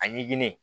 A ɲɛɲini